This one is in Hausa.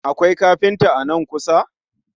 Akwai kafinta a nan kusa?